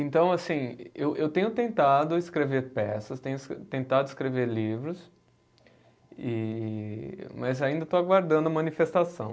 Então, assim, eu eu tenho tentado escrever peças, tenho tentado escrever livros e, mas ainda estou aguardando a manifestação.